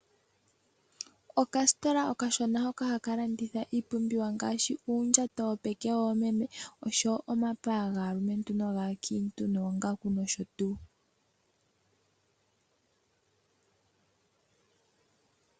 Okasitola okashona hoka haka landitha iipumbiwa ngaashi uundjato wopeke woomeme oshowo omapaya gaalumentu nogakiintu, noongaku noshotuwu.